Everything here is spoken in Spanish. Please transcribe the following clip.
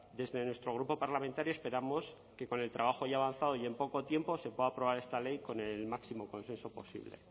desde nuestro grupo parlamentario esperamos que con el trabajo ya avanzado y en poco tiempo se pueda aprobar esta ley con el máximo consenso posible